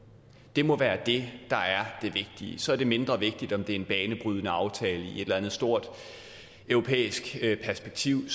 det må være det der er det vigtige så er det mindre vigtigt om det er en banebrydende aftale i et eller andet stort europæisk perspektiv